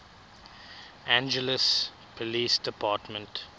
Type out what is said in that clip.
angeles police department